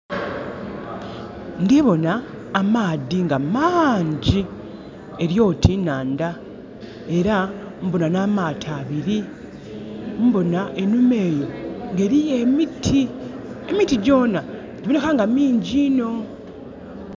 Ndhi bona amaadhi nga mangi. Eri oti nhandha era mbona n'amaato abili. Mbona enhuma eyo nga eriyo emiti. Emiti gyona, giboneka nga mingi inho.